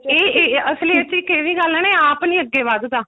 ਇਹ ਇਹ ਅਸਲੀ ਚ ਇੱਕ ਇਹ ਵੀ ਗੱਲ ਹੈ ਇਹ ਆਪ ਨਹੀਂ ਅੱਗੇ ਵੱਧਦਾ